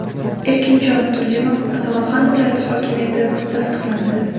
Erkinjon Turdimov Samarqand viloyati hokimi etib tasdiqlandi.